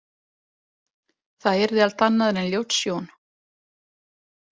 Það yrði allt annað en ljót sjón.